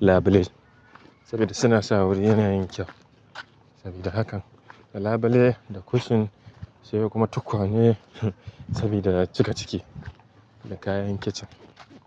labelai saboda suna sa wuri yana yin kyau sabida hakan. Da labelai, da cushion sai kuma tukwane sabida cika ciki da kayan kicin.